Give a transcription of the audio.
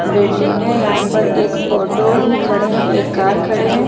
Building है यहां पर एक ऑटो भी खड़े हैं एक कार खड़े हैं।